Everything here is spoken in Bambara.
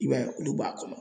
I b'a ye olu b'a kɔnɔ.